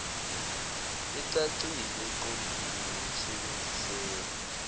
ecacile eqondile nesebenziseka